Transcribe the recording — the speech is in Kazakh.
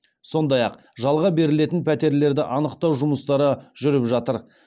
сондай ақ жалға берілетін пәтерлерді анықтау жұмыстары жүріп жатыр